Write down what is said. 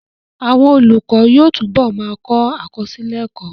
Àwọn olùkọ́ yóò túbọ̀ ma kọ àkọsílẹ̀ ẹ́kọ́